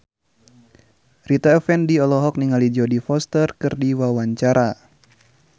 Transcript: Rita Effendy olohok ningali Jodie Foster keur diwawancara